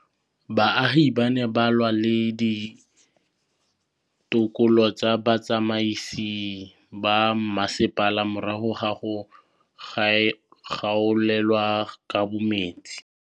Baagi ba ne ba lwa le ditokolo tsa botsamaisi ba mmasepala morago ga go gaolelwa kabo metsi